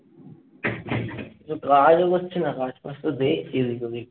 বুঝছি না। কাজ ফাজ তো দে। কি যে করি।